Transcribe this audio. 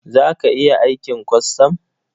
Za ka iya aikin kwastam?